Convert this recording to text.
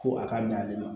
Ko a ka ɲa ale ma